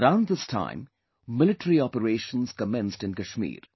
Around this time, military operations commenced in Kashmir